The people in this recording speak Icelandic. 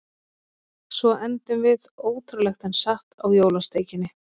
Svo endum við, ótrúlegt en satt, á jólasteikinni.